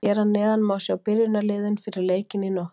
Hér að neðan má sjá byrjunarliðin fyrir leikinn í nótt.